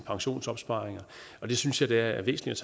pensionsopsparinger det synes jeg da er væsentligt